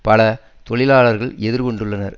பல தொழிலாளர்களும் எதிர்கொண்டுள்ளனர்